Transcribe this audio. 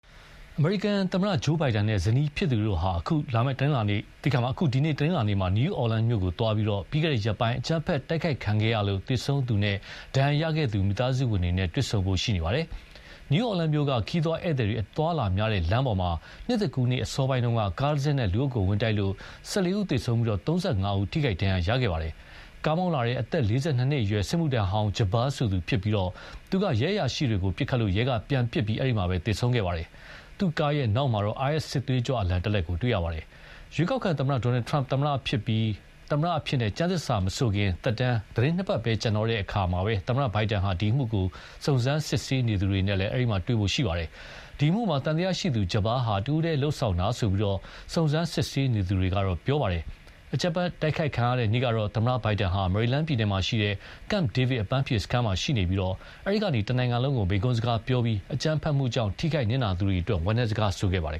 အမေရိကန်သမ္မတ ဂျိုးဘိုင်ဒန်နဲ့ ဇနီးဖြစ်သူတို့ဟာ အခု တနင်းလာနေ့မှာ New Orleans မြို့ကိုသွားရောက်ပြီး၊ ပြီးခဲ့တဲ့ရက်ပိုင်း အကြမ်းဖက်တိုက်ခိုက်ခံခဲ့ရလို့ သေဆုံးသူနဲ့ ဒဏ်ရာရသူမိသားစုဝင်တွေနဲ့ တွေ့ဆုံဖို့ရှိပါတယ်။ New Orleans မြို့က ခရီးသွားဧည်သည်တွေအသွားအလာများတဲ့လမ်းပေါ်မှာ နှစ်သစ်ကူးနေ့အစောပိုင်းက ကားတစင်းနဲ့ လူအုပ်ကို ဝင်တိုက်လို့ ၁၄ ဦးသေဆုံးပြီး ၃၅ ဦး ထိခိုက်ဒဏ်ရာရခဲ့ပါတယ်။ ကားမောင်းလာသူ အသက် ၄၂နှစ်အရွယ် စစ်မှုထမ်းဟောင်း Jabbar ဆိုသူဖြစ်ပြီး၊ သူက ရဲအရာရှိတွေကို ပစ်ခတ်ပြီး ရဲက ပြန်ပစ်လို့ အဲဒီမှာပဲ သေဆုံးခဲ့ပါတယ်။ သူ့ကားနောက်မှာတော့ IS စစ်သွေးကြွအလံတလက်တွေ့ရပါတယ်။ ရွေးကောက်ခံသမ္မတ Donald Trump သမ္မတအဖြစ် ကျမ်းသစ္စာမဆိုခင်၊ သက်တမ်း သီတင်းနှစ်ပတ်ပဲကျန်တဲ့ သမ္မတ Biden ဟာ အဲဒီအမှုကို စုံစမ်းစစ်ဆေးနေသူတွေနဲ့လည်း တွေ့ဖို့ရှိပါတယ်။ ဒီအမှုမှာ သံသယရှိသူ Jabbar ဟာ တဦးတည်းလုပ်ဆောင်တာလို့ စုံစမ်းစစ်ဆေးသူတွေကတော့ ပြောပါတယ်။ အကြမ်းဖက်တိုက်ခိုက်ခံရတဲ့နေ့ကတော့ သမ္မတ ဘိုင်ဒန်ဟာ မေရီလန်းပြည်နယ်က Camp David အပန်းဖြေစခန်းမှာရှိနေပြီး၊ အဲဒီကနေ တနိုင်ငံလုံးကို မိန့်ခွန်းစကားပြောပြီး အကြမ်းဖက်မှုကြောင့် ထိခိုက်နစ်နာသူတွေအတွက် ဝမ်းနည်းစကားဆိုခဲ့ပါတယ်